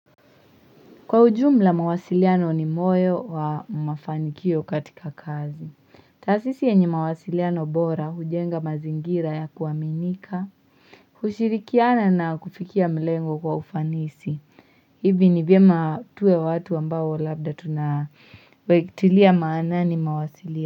Kwa ujumla mawasiliano ni moyo wa mafanikio katika kazi. Taasisi yenyemawasiliano bora hujenga mazingira ya kuaminika. Hushirikiana na kufikia mlengo kwa ufanisi. Hivi ni vyematuwe watu ambao labda tunatilia maanani mawasiliano.